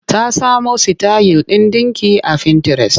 Ta samo sitayil ɗin ɗinki a fintires.